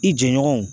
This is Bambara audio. I jɛɲɔgɔnw